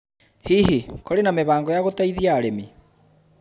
Hihi, kũrĩ na mĩbango ya gũteithia arĩmi?